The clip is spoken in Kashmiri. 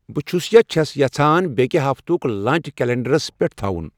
بہٕ چھُس یا چھَس یژھان بیٛکہِ ہفتُک لنچ کیلنڑرَس پٮ۪ٹھ تھاوُن